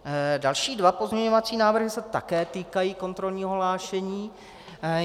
Další dva pozměňovací návrhy se také týkají kontrolního hlášení.